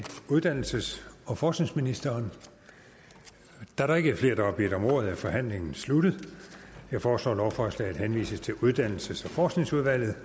uddannelses og forskningsministeren da der ikke er flere der har bedt om ordet er forhandlingen sluttet jeg foreslår at lovforslaget henvises til uddannelses og forskningsudvalget